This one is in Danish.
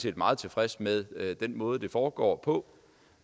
er meget tilfreds med den måde det foregår på